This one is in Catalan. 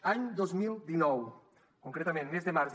any dos mil dinou concretament mes de març